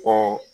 Kɔ